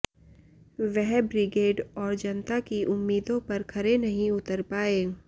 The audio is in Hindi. वह ब्रिगेड और जनता की उम्मीदों पर खरे नही उतर पाए